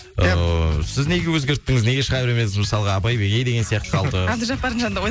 ыыы сіз неге өзгерттіңіз неге шыға бермедіңіз мысалға абай бегей деген сияқты қалды әбдіжаппардың жанынды